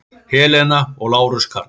Helena og Lárus Karl.